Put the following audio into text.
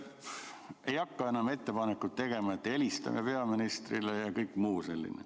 Ma ei hakka enam ettepanekut tegema, et helistame peaministrile, ja kõike muud sellist.